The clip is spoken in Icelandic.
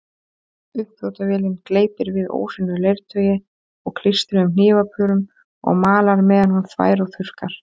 Uppþvottavélin gleypir við óhreinu leirtaui og klístruðum hnífapörum og malar meðan hún þvær og þurrkar.